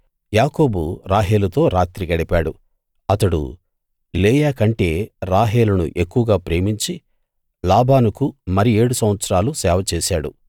యాకోబు రాహేలుతో రాత్రి గడిపాడు అతడు లేయా కంటే రాహేలును ఎక్కువగా ప్రేమించి లాబానుకు మరి ఏడు సంవత్సరాలు సేవ చేశాడు